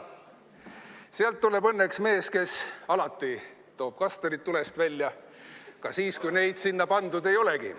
Sealt tuleb õnneks mees, kes alati toob kastanid tulest välja – ka siis, kui neid sinna pandud ei olegi.